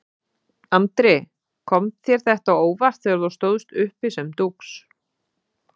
Andri: Kom þér þetta á óvart þegar þú stóðst uppi sem dúx?